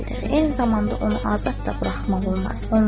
Eyni zamanda onu azad da buraxmaq olmaz.